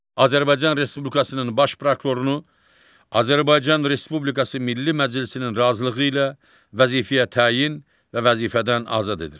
Azərbaycan Respublikasının baş prokurorunu Azərbaycan Respublikası Milli Məclisinin razılığı ilə vəzifəyə təyin və vəzifədən azad edir.